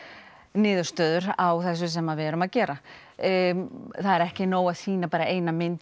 niðurstöður á því sem við erum að gera það er ekki nóg að sýna eina mynd